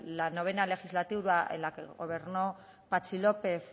la noveno legislatura en la que gobernó patxi lópez